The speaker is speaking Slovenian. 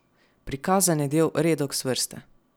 Prikazan je del redoks vrste.